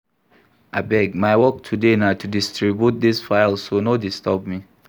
Abeg my work today na to distribute dis files so no disturb me